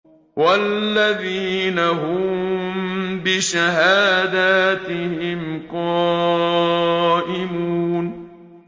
وَالَّذِينَ هُم بِشَهَادَاتِهِمْ قَائِمُونَ